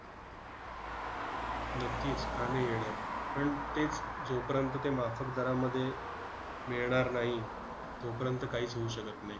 नक्कीच, का नाही येणार. पण तेच, जोपर्यंत ते माफक दरामध्ये मिळणार नाही, तोपर्यंत काहीच होऊ शकत नाही.